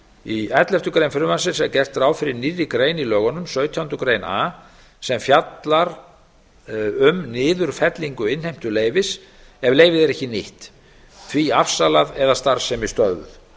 í elleftu greinar frumvarpsins er gert ráð fyrir nýrri grein í lögunum sautjándu grein a sem fjallar um niðurfellingu innheimtuleyfis ef leyfið er ekki nýtt því afsalað eða starfsemi stöðvuð